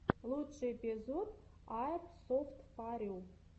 лучший эпизод аирсофтфорю